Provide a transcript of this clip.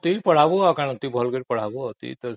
ଠିକ ପଢ଼େଇବୁ ଟିକେ ଭଲ ସେ ପଢ଼େଇବୁ